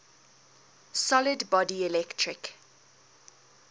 solid body electric